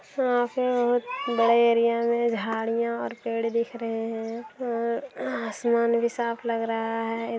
यहाँ पे बहुत बड़े एरिया में झाड़ियां और पेड़ दिख रहे हैं और आसमान भी साफ लग रहा है।